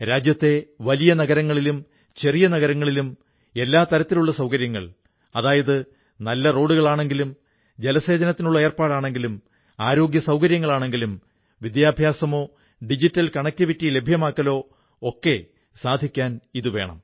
രാജ്യത്തെ വലിയ നഗരങ്ങളിലും ചെറിയ നഗരങ്ങളിലും എല്ലാ തരത്തിലുമുള്ള സൌകര്യങ്ങൾഅത് നല്ല റോഡുകളാണെങ്കിലും ജലത്തിനുള്ള ഏർപ്പാടാണെങ്കിലും ആരോഗ്യസൌകര്യങ്ങളാണെങ്കിലും വിദ്യാഭ്യാസമോ ഡിജിറ്റൽ കണക്ടിവിറ്റി ലഭ്യമാക്കലോ ഒക്കെ സാധിക്കാൻ ഇതു വേണം